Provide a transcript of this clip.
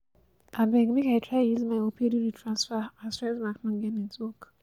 Abeg make I try use my Opay do the transfer as Firstbank no get network